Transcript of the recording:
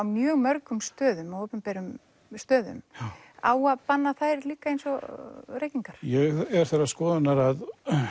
mjög mörgum stöðum opinberum stöðum á að banna þær líka eins og reykingar ég er þeirrar skoðunar að